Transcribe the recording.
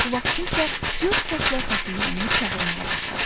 bu vaxt kimsə cırıq səslə xəfiyyəni çağırmağa başladı.